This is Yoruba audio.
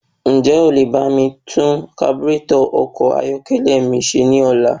Ǹjẹ́ o lè bá mi tún kaburétọ̀ ọkọ̀ ayọ́kẹ́lẹ́ mi ṣe ní ọ̀la?